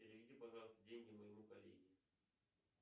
переведи пожалуйста деньги моему коллеге